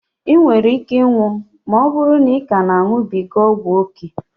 I nwere ike ịnwụ ma ọbụrụ na ị ka na a ṅubiga ọgwụ ókè